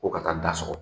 Ko ka taa da sɔgɔ